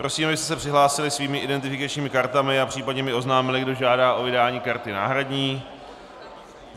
Prosím, abyste se přihlásili svými identifikačními kartami a případně mi oznámili, kdo žádá o vydání karty náhradní.